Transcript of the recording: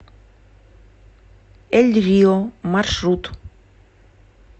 эль рио маршрут